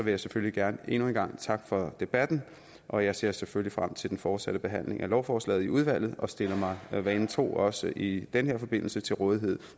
jeg selvfølgelig gerne endnu en gang takke for debatten og jeg ser selvfølgelig frem til den fortsatte behandling af lovforslaget i udvalget og stiller mig vanen tro også i den her forbindelse til rådighed